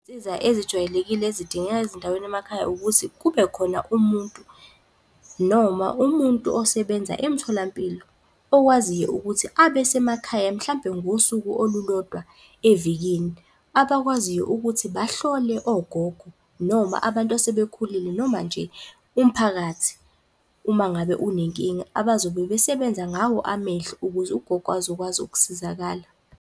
Izinsiza ezijwayelekile ezidingeka ezindaweni emakhaya ukuthi kubekhona umuntu noma umuntu osebenza emtholampilo, okwaziyo ukuthi abe semakhaya mhlampe ngosuku olulodwa evikini, abakwaziyo ukuthi bahlole ogogo, noma abantu asebekhulile, noma nje umphakathi uma ngabe unenkinga, abazobe besebenza ngawo amehlo ukuze ugogo azokwazi ukusizakala.